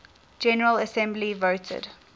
general assembly voted